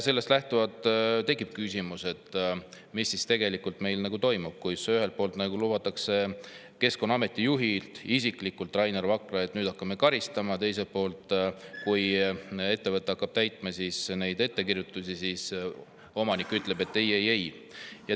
Sellest lähtuvalt tekib küsimus, mis meil siis tegelikult toimub, kui ühelt poolt lubab Keskkonnaameti juht Rainer Vakra isiklikult, et nüüd hakkame karistama, aga teiselt poolt, kui ettevõte hakkab täitma ettekirjutusi, siis omanik ütleb, et ei-ei-ei.